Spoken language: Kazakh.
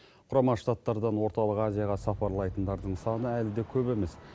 құрама штаттардан орталық азияға сапарлайтындардың саны әлі де көп емес